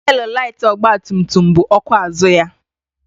Teelụ laiti ọgba tum tum bụ ọkụ azụ ya.